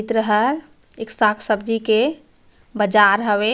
चित्र हर एक साग-सब्जी के बाजार हवे--